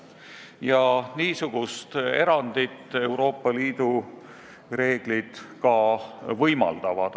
Ja niisugust erandit Euroopa Liidu reeglid ka võimaldavad.